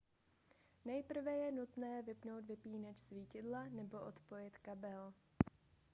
nejprve je nutné vypnout vypínač svítidla nebo odpojit kabel